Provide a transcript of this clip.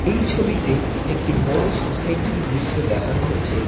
এই ছবিতে একটি বড়ো সোসাইটির দৃশ্য দেখানো হয়েছে।